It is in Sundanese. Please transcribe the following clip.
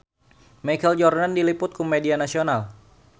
Michael Jordan diliput ku media nasional